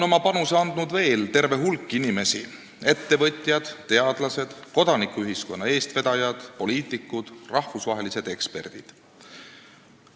Oma panuse on andnud veel terve hulk inimesi: ettevõtjad, teadlased, kodanikuühiskonna eestvedajad, poliitikud, rahvusvahelised eksperdid.